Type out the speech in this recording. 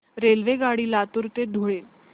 रेल्वेगाडी लातूर ते धुळे